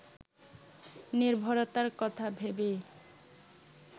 নির্ভরতার কথা ভেবেই